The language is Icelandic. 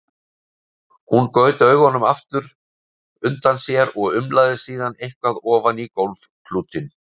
Hún gaut augunum aftur undan sér og umlaði síðan eitthvað ofan í gólfklútinn.